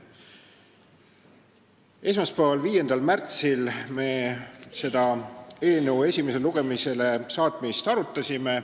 Esmaspäeval, 5. märtsil me selle eelnõu esimesele lugemisele saatmist arutasime.